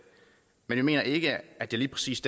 men vi mener ikke at det lige præcis